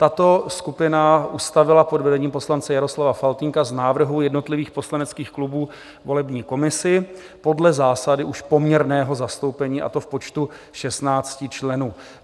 Tato skupina ustavila pod vedením poslance Jaroslava Faltýnka z návrhů jednotlivých poslaneckých klubů volební komisi podle zásady už poměrného zastoupení, a to v počtu 16 členů.